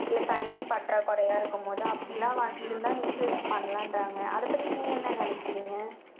இல்லை, தண்ணி பற்றாக்குறையா இருக்கும்போது, அப்படி எல்லாம் இருந்தா, insurance பண்ணலான்றாங்க. அதைப் பத்தி, நீங்க என்ன நினைக்கறீங்க?